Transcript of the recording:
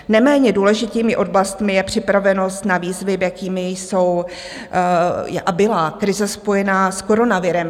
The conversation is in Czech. Neméně důležitými oblastmi je připravenost na výzvy, jakými jsou a byla krize spojená s koronavirem.